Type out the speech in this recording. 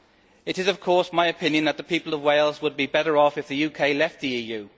It is, of course, my opinion that the people of Wales would be better off if the UK left the EU.